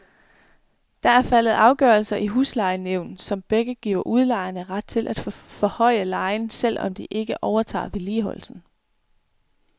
Der er faldet to afgørelser i huslejenævn, som begge giver udlejerne ret til at forhøje lejen, selv om de ikke overtager vedligeholdelsen.